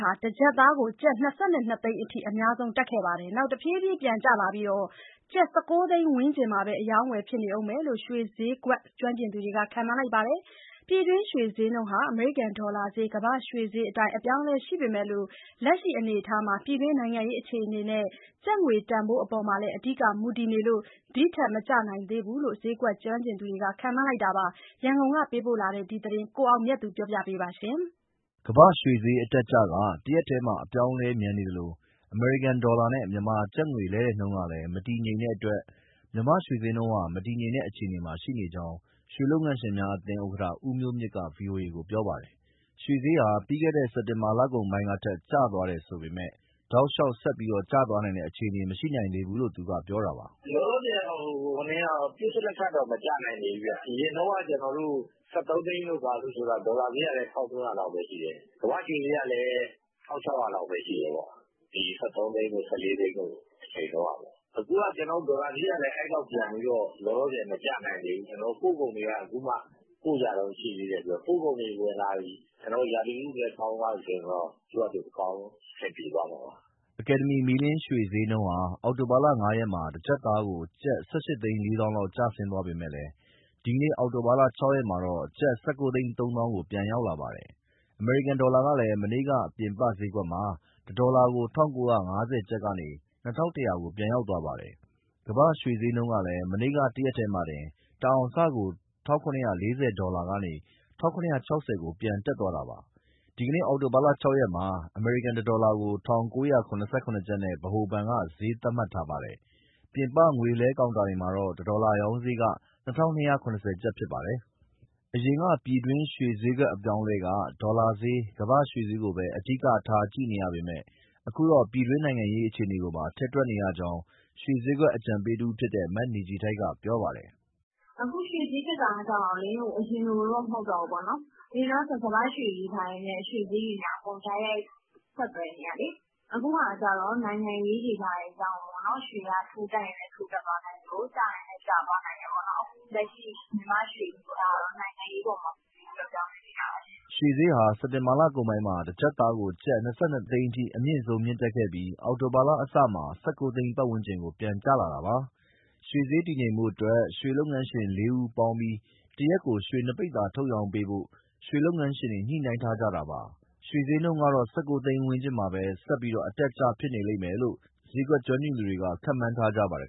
ဟာ တကျပ်သားကို ကျပ် ၂၂ သိန်းအထိ အများဆုံး တက်ခဲ့ပြီးတဲ့နောက် တဖြည်းဖြည်း ပြန်ကျလာပြီး ကျပ် ၁၉ သိန်းဝန်းကျင်မှာပဲ အရောင်းအဝယ်ဖြစ်နေဦးမယ်လို့ ရွှေဈေးကွက် ကျွမ်းကျင်သူ တွေက ခန့်မှန်းလိုက်ပါတယ်။ ပြည်တွင်းရွှေဈေးနှုန်းက အမေရိကန် ဒေါ်လာဈေး၊ ကမ္ဘာ့ရွှေဈေးအတိုင်း အပြောင်းအလဲရှိပေမဲ့ လက်ရှိအနေအထားမှာ ပြည်တွင်း နိုင်ငံရေးအခြေအနေနဲ့ ကျပ်ငွေတန်ဖိုးအပေါ်မှာလည်း အဓိက မူတည်နေလို့ ဒီထက်မကျနိုင်သေးဘူးလို့ ဈေးကွက်ကျွမ်းကျင်သူတွေက ခန့်မှန်းလိုက်တာပါ။ ရန်ကုန်ပေးပို့တဲ့ ဒီသတင်းကို ကိုအောင်မြတ်သူက တင်ပြပေးထားပါတယ်။ ကမ္ဘာ့ရွှေဈေးအတက်အကျက တရက်တည်းမှာ အပြောင်းအလဲမြန်နေသလို အမေရိကန်ဒေါ်လာနဲ့ မြန်မာကျပ်ငွေလဲလှယ်နှုန်းကလည်း မတည်ငြိမ်တဲ့အတွက် မြန်မာ့ရွှေဈေးနှုန်းက မတည်ငြိမ်တဲ့အခြေအနေမှာ ရှိကြောင်း ရွှေလုပ်ငန်းရှင်များအသင်းဥက္ကဋ္ဌ ဦးမျိုးမြင့်က ဗွီအိုအေကို ပြောပါတယ်။ ရွှေဈေးဟာ ပြီးခဲ့တဲ့ စက်တင်ဘာလကုန်ပိုင်းကထက် ကျသွားတယ်ဆိုပေမဲ့ တောက်လျှောက်ဆက်ပြီးကျသွားနိုင်တဲ့ အခြေအနေကတော့ မရှိနိုင်သေးဘူးလို့ သူက ပြောတာပါ။ “လောလောဆယ်ကတော့ ပစ္စလက်ခတ်တော့ မကျနိုင်သေးဘူးဗျ။ အရင်တုန်းက ( ရွှေဈေး) ၁၃ သိန်းတို့ ဘာတို့ဆိုတာ ဒေါ်လာဈေးကလည်း ၁,၃၀၀ လောက်ပဲရှိတယ်၊ ကမ္ဘာ့ရွှေဈေးကလည်း ၁,၆၀၀ လောက်ပဲရှိတယ်၊ ဒီ ၁၃ သိန်းတို့၊ ၁၄ သိန်းတို့ အချိန်တုန်းကပေါ့။ အခုက ဒေါ်လာဈေးကလည်း အဲလောက် ပြန်ပြီးတော့ လောလောဆယ် မကျနိုင်သေးဘူး။ ကျနော်တို့ ပို့ကုန်တွေက အခုမှ ပို့ကြတုန်း ရှိသေးတယ်။ ပို့ကုန်တွေဝင်လာရင်၊ ရာသီဥတုလည်း ကောင်းသွားပြီဆိုရင်တော့ သူ့ဟာသူ အဆင်ပြေသွားမှာပါ။” အကယ်ဒမီ မီးလင်းရွှေဈေးနှုန်းဟာ အောက်တိုဘာ ၅ ရက်မှာ တကျပ်သားကို ကျပ် ၁,၈၄၀,၀၀၀ လောက် ကျဆင်းသွားပေမဲ့ ဒီနေ့ အောက်တိုဘာ ၆ ရက်မှာတော့ ကျပ် ၁,၉၃၀,၀၀၀ ကို ပြန်ရောက်လာပါတယ်။ အမေရိကန်ဒေါ်လာကလည်း မနေ့က ပြင်ပဈေးကွက်မှာ တဒေါ်လာကို ၁,၉၅၀ ကျပ်ကနေ ၂,၁၀၀ ကို ပြန်ရောက်သွားပါတယ်။ ကမ္ဘာ့ရွှေဈေးကလည်း မနေ့က တရက်တည်းမှာတင် တအောင်စကို ၁,၇၄၀ ဒေါ်လာကနေ ၁,၇၆၀ ကို ပြန်တက်သွားတာပါ။ ဒီနေ့အောက်တိုဘာ ၆ ရက်မှာတော့ အမေရိကန် တဒေါ်လာကို ၁,၉၇၇ ကျပ်နဲ့ ဗဟိုဘဏ်က ဈေးသတ်မှတ်ထားပါတယ်။ ပြင်ပ ငွေလဲကောင်တာတွေမှာတော့ တဒေါ်လာရောင်းဈေးက ၂,၂၇၀ ကျပ်ဖြစ်ပါတယ်။ အရင်က ပြည်တွင်းရွှေဈေးအပြောင်းအလဲက ဒေါ်လာဈေး၊ ကမ္ဘာ့ရွှေဈေးကိုပဲ အဓိကထား ကြည့်ရပေမဲ့ အခုတော့ ပြည်တွင်းနိုင်ငံရေး အခြေအနေတွေပါ ထည့်တွက်ရကြောင်း ရွှေဈေးကွက် အကြံပေးတဦးဖြစ်တဲ့ မနေခြည်ထိုက် က ပြောပါတယ်။ “အခုရွှေဈေး တက်တာကျတော့ အရင်လိုတော့ မဟုတ်တော့ဘူးပေါ့၊ အရင်တုန်းက ကမ္ဘာ့ရွှေတွေ ဘာတွေနဲ့အကုန် တိုက်ရိုက် ဆက်သွယ်နေတာလေ။ အခုက နိုင်ငံရေးတွေ ဘာတွေကြောင့်မို့ ရွှေဈေးက ထိုးတက်ရင်လည်း တက်သွားနိုင်သလို ကျရင်လည်း ကျသွားနိုင်တယ်ပေါ့။ လက်ရှိ မြန်မာ့ရွှေဈေးကတော့ နိုင်ငံရေး အပေါ်မှာ မူတည်ပြီး ပြောင်းလဲနေတာပါရှင့်။” ရွှေဈေးဟာ စက်တင်ဘာလကုန်ပိုင်းမှာ တကျပ်သားကို ကျပ် ၂,၂၀၀,၀၀၀ အထိအမြင့်ဆုံး တက်ခဲ့ပြီး အောက်တိုဘာ အစမှာ ၁၉ သိန်းဝန်းကျင်ကို ပြန်ကျလာတာပါ။ ရွှေဈေးတည်ငြိမ်ဖို့အတွက် ရွှေလုပ်ငန်းရှင် ၄ ဦးပေါင်းပြီး တရက်ကို ရွှေ ပိဿာ၂၀ထုတ်ရောင်းပေးဖို့လည်း ရွှေလုပ်ငန်းရှင်တွေက ညှိနှိုင်းထားကြတာပါ။ ရွှေဈေးကတော့ ၁၉ သိန်းဝန်းကျင်မှာပဲ အတက်အကျ ဆက်ဖြစ်နေလိမ့်မယ်လို့ ဈေးကွက်ကျွမ်းကျင်သူတွေက ခန့်မှန်းထားပါတယ်